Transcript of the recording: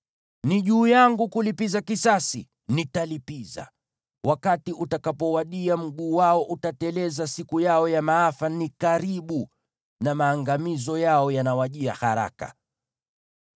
Ni juu yangu kulipiza kisasi; nitalipiza. Wakati utakapowadia, mguu wao utateleza; siku yao ya maafa ni karibu, na maangamizo yao yanawajia haraka.”